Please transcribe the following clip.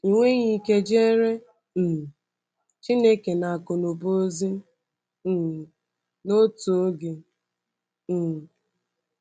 Ị nweghị ike jeere um Chineke na Aku Uba ozi um n’otu oge. ” um